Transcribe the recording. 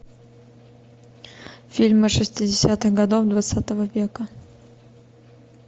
фильмы шестидесятых годов двадцатого века